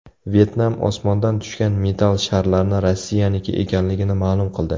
Vyetnam osmondan tushgan metall sharlarni Rossiyaniki ekanligini ma’lum qildi.